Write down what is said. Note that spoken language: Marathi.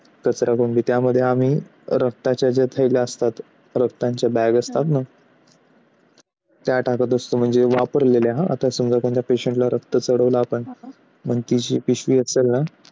कचरा कोंडी त्यामध्ये रक्ताच्या जायला असतात रक्ताच्या बागे असतात ना त्या टाकत असतो. म्हणजे वापरलेल्या हातात समजा आपण कोणत्या प्रश्नाला रक्त चळवला आपण मग तिची पिशवी असेल ना?